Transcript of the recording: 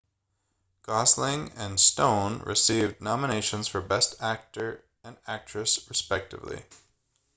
gosling and stone received nominations for best actor and actress respectively